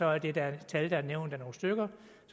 er det da et tal der er blevet nævnt af nogle stykker